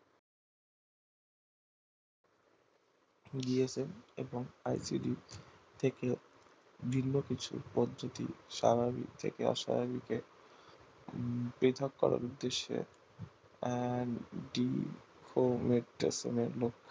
dsl এবং ICD থেকে ভিন্ন কিছু পদ্ধতি স্বাবাভিক থেকে অস্বাভাবিক বেঘাপ করার উদ্দেশ্যে